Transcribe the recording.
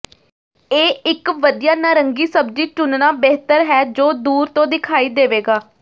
ਇਹ ਇਕ ਵਧੀਆ ਨਾਰੰਗੀ ਸਬਜ਼ੀ ਚੁਣਨਾ ਬਿਹਤਰ ਹੈ ਜੋ ਦੂਰ ਤੋਂ ਦਿਖਾਈ ਦੇਵੇਗਾ